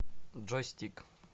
джой стик